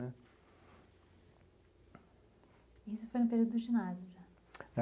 Isso foi no período do ginásio, já?